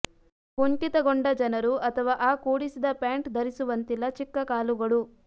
ಕುಂಠಿತಗೊಂಡ ಜನರು ಅಥವಾ ಆ ಕೂಡಿಸಿದ ಪ್ಯಾಂಟ್ ಧರಿಸುವಂತಿಲ್ಲ ಚಿಕ್ಕ ಕಾಲುಗಳು